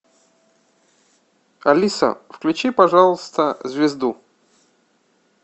алиса включи пожалуйста звезду